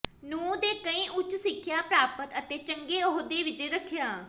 ਨੂੰ ਦੇ ਕਈ ਉੱਚ ਸਿੱਖਿਆ ਪ੍ਰਾਪਤ ਅਤੇ ਚੰਗੇ ਅਹੁਦੇ ਵਿੱਚ ਰੱਖਿਆ